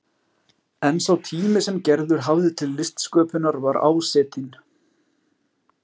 En sá tími sem Gerður hafði til listsköpunar var ásetinn.